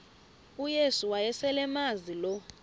uyesu wayeselemazi lo